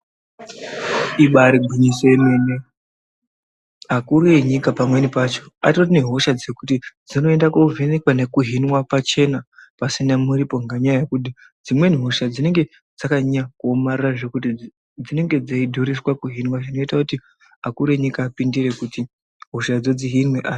Ibaari gwinyiso remene akuru enyika pamweni pacho atori nehosha dzekuti dzinoenda kovhenekwa nekuhinwa pachena pasina muripo ngenyaya yekuti dzimweni hosha dzinonge dzakanyanya kuomarara zvekuti dzinenge dzeidhuriswa kuninwa zvekuti akuru enyika apindire kuti hoshadzo dzihinwe.